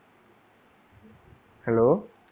hello